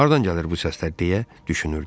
Hardan gəlir bu səslər deyə düşünürdüm.